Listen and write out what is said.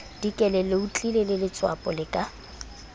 dikele leotlile letswapo le ka